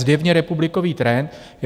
Zjevně republikový trend.